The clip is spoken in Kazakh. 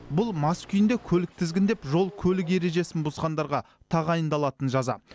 бұл мас күйінде көлік тізгіндеп жол көлік ережесін бұзғандарға тағайындалатын жаза